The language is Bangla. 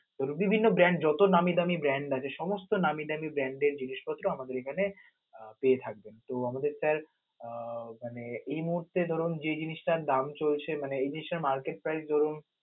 ধরুন বিভিন্ন brand যত নামি দামি brand আছে সমস্ত নামি দামি brand এর জিনিসপত্র আমাদের এখানে পেয়ে থাকবেন, তো আমাদের sir আহ মানে এই মুহূর্তে ধরুন যে জিনিসটার দাম চলছে, মানে এই জিনিসটার market price ধরুন